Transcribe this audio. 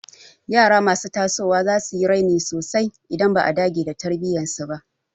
Yara masu tasowa za su yi raini sosai idan ba a dage da tarbiyyar su ba.